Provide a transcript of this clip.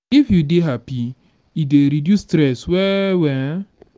if you dey happy e dey reduce stress well well um